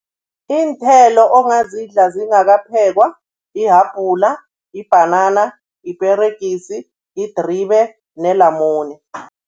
Iinthelo ongazidla zingakaphekwa, yihabhula, yibhanana, yiperegisi, yidribe nelamune.